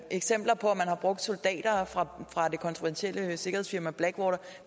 eksempler på at man har brugt soldater fra det kontroversielle sikkerhedsfirma blackwater